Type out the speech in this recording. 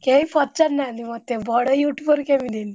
କେହି ପଚାରୁ ନାହାନ୍ତି ମତେ ବଡ YouTuber କେମିତି ହେଲି?